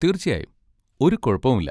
തീർച്ചയായും! ഒരു കുഴപ്പവുമില്ല.